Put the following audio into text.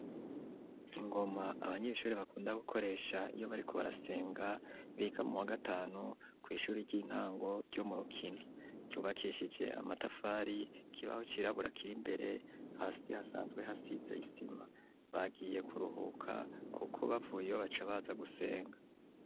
Ingoma abanyeshuri bakunda gukoresha iyo bariko barasenga biga mu wa gatanu kw'ishuri ry'intango ryo murukini ryubakishijwe amatafari ikibaho cirabura kiri imbere hasi hasanzwe hasize isima bagiye kuruhuka kuko bavuye baca baza gusenga.